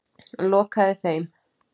Lokaði þeim.